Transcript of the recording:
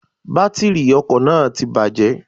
Bátìrì ọkò náà ti bàjé